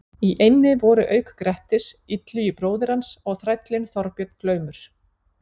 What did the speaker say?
Í eynni voru auk Grettis, Illugi bróðir hans og þrællinn Þorbjörn glaumur.